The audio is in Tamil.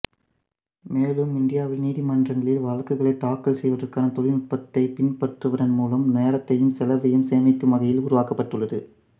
மேலும் இந்தியாவில் நீதிமன்றங்களில் வழக்குகளைத் தாக்கல் செய்வதற்கான தொழில்நுட்பத்தைப் பின்பற்றுவதன் மூலம் நேரத்தையும் செலவையும் சேமிக்கும் வகையில் உருவாக்கப்பட்டுள்ளது